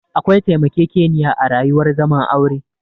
Akwai taimakekeniya a rayuwar zaman aure